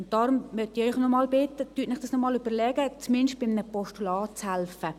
Deshalb möchte ich Sie bitten, sich nochmals zu überlegen, zumindest bei einem Postulat mitzuhelfen.